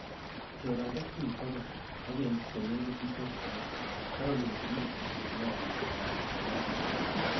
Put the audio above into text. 'Choran tokyin bo gee, ak en konekit ichob oret,''-Caroline kinoti, neyoe ngalek ab golokset.